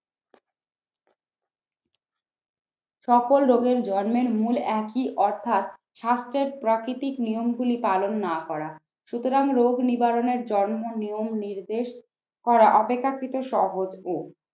সকল রোগের জন্মের মূল একই অর্থাৎ স্বাস্থ্যের প্রাকৃতিক নিয়মগুলি পালন না করা সুতরাং রোগ নিবারণের জন্ম, নিয়ম, নির্দেশ করা অপেক্ষাকৃত সহজ ও